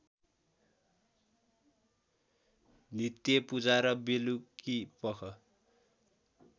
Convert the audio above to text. नित्य पूजा र बेलुकीपख